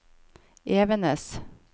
Evenes